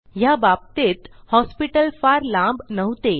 ह्या बाबतीत हॉस्पिटल फार लांब नव्हते